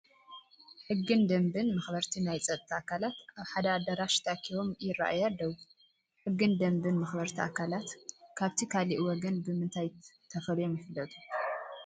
ሕግን ደንብን መኽበርቲ ናይ ፀጥታ ኣካላት ኣብ ሓደ ኣዳራሽ ተኣኪቦም ይርአዩ ኣለዉ፡፡ ሕግን ደንብን መኽበርቲ ኣካላት ካብቲ ካልእ ወገን ብምንታይ ተፈልዮም ይፍለጡ?